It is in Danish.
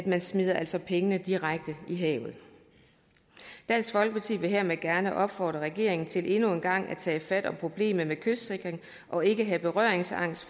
man smider altså pengene direkte i havet dansk folkeparti vil hermed gerne opfordre regeringen til endnu en gang at tage fat om problemet med kystsikring og ikke have berøringsangst